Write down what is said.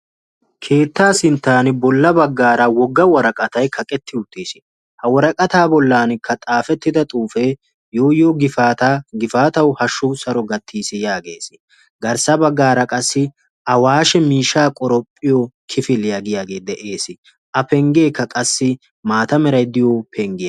keettaa sinttan bolla baggara wogga xuufe kaqqeti uttiis; ha woraqqata bollankka xaafetidda xuufe yoo yoo gifaata gifaataw hashshu saro gattees yaagees; garssa baggara qassi awashshe miishsha qoraphiyoo kifilee giyaage dees a penggekka qassi mata meray diyo penggiyaa.